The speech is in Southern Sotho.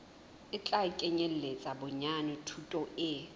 tla kenyeletsa bonyane thuto e